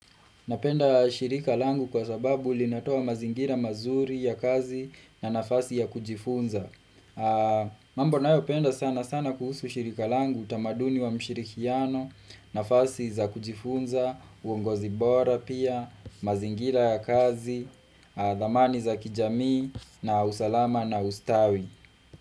Napenda shirika langu kwa sababu ulinatoa mazingira mazuri ya kazi na nafasi ya kujifunza. Mambo ninayo penda sana sana kuhusu shirika langu utamaduni wa mshirikiano, nafasi za kujifunza, uongozi bora pia, mazingira ya kazi, dhamani za kijami, na usalama na ustawi.